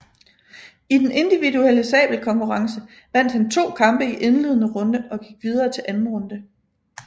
I den individuelle sabelkonkurrence vandt han to kampe i indledende runde og gik videre til anden runde